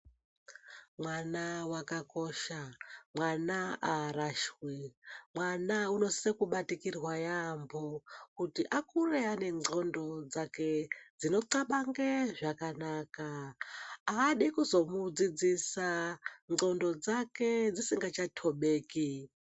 Mwana vakakosha, mwana haarashwi, mwana unosise kubatikirwa yaambo kuti akure anendxondo dzake dzinothabange zvakanaka. Haadi kuzomudzidzisa ndxondo dzake dzisingacha tobeki.